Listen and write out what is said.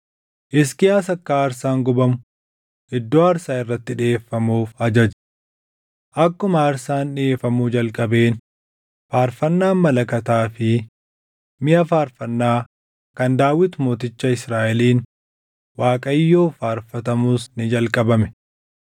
Hisqiyaas akka aarsaan gubamu iddoo aarsaa irratti dhiʼeeffamuuf ajaje. Akkuma aarsaan dhiʼeeffamuu jalqabeen faarfannaan malakataa fi miʼa faarfannaa kan Daawit mooticha Israaʼeliin Waaqayyoof faarfatamus ni jalqabame.